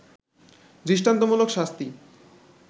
দৃষ্টান্তমূলক শাস্তি